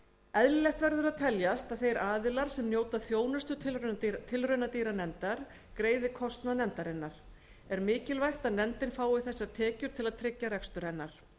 eðlilegt verður að teljast að þeir aðilar sem njóta þjónustu tilraunadýranefndar greiði kostnað nefndarinnar er mikilvægt að nefndin fái þessar tekjur til að tryggja rekstur hennar